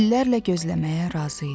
İllərlə gözləməyə razı idi.